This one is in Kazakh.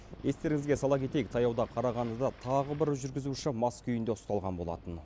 естеріңізге сала кетейік таяуда қарағандыда тағы бір жүргізуші мас күйінде ұсталған болатын